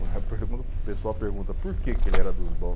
O pessoal pergunta por que ele era dos bom.